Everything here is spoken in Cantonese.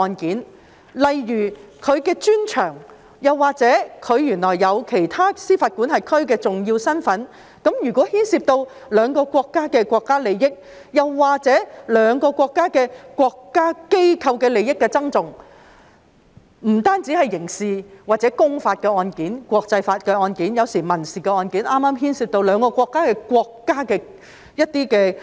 舉例來說，如有關法官的專長——原來他擁有其他司法管轄區的重要身份，那麼牽涉兩國國家利益，又或是兩國國家機構的利益的爭訟，不單是刑事、公法案件、國際法案件或民事案件，還是牽涉兩國屬下機構的這一類